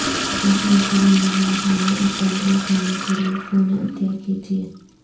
دوسروں کی زندگی بچانے اورتندرست رہنے کے لیے خون عطیہ کیجئیے